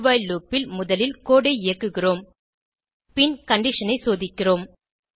do while loop ல் முதலில் code ஐ இயக்குகிறோம் பின் கண்டிஷன் ஐ சோதிக்கிறோம்